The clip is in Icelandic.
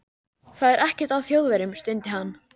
Það er ekkert að Þjóðverjum stundi hann.